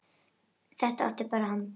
Þetta átti hann til.